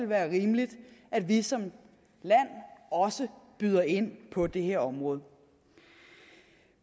være rimeligt at vi som land også byder ind på det her område